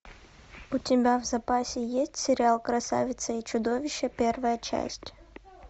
у тебя в запасе есть сериал красавица и чудовище первая часть